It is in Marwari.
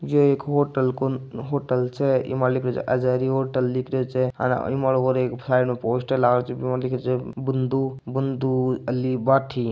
यो एक होटल को होटल छे इ मा लिखो जे हज़ारी होटल लिखियो छे और साइड एक पोस्टर लागेल छे इन में के पोस्टर बन्धु बन्धु अली भाठी--